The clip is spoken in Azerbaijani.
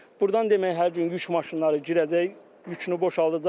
Burdan demək hər gün yük maşınları girəcək, yükünü boşaldacaq.